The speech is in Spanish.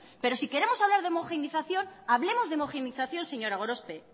pero si queremos hablar de homogenización hablemos de homogeneización señora gorospe